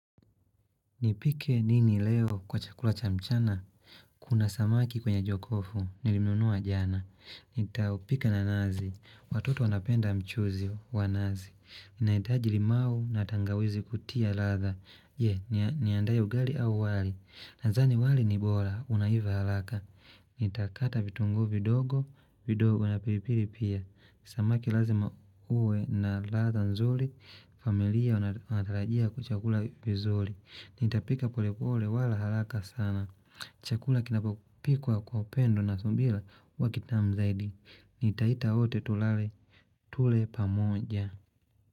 Nipike nini leo kwa chakula cha mchana, kuna samaki kwenye jokofu, nilimnunua jana, nitaupika na nazi, watoto wanapenda mchuzi wa nazi, inahitaji limau na tangawizi kutia ladha, je, niandae ugali au wali? Nadhani wali ni bora, unaiva haraka, nitakata vitunguu vidogo, vidogo na pilipili pia, samaki lazima uwe na ladha nzuri, familia wanatarajia kuchakula vizuri, Nitapika pole pole wala haraka sana Chakula kinapopikwa kwa upendo na subira huwa kitamu zaidi. Nitaita wote tule pamoja.